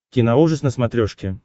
киноужас на смотрешке